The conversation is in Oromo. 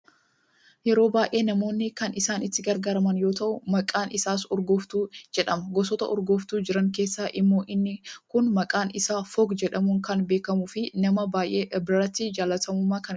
Yeroo baayee namoonni kan isaan itti gargaaraman yoo tahu maqaan isaas urgooftuu jedhama. Gosoota urgooftuu jiran keessaa immoo inni kun maqaan isaa "FOGG" jedhamuun kan beekamuu fi nama baayee biratti jaallatamummaa kan qabudha.